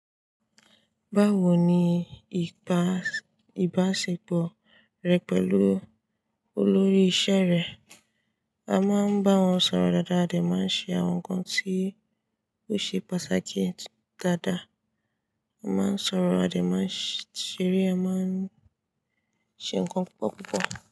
Báwo ni ìbá- ìbáṣepọ̀ rẹ pẹ̀lú olórí iṣẹ́ rẹ? A máa ń bá wọn sọ̀rọ̀ dáadáa, a dè máa ń ṣe àwọn nǹkan tí ó ṣe pàtàkì dáadáa, a máa ń sọ̀rọ̀, a dè máa ń ṣeré, a máa ń ṣe nǹkan púpọ̀ púpọ̀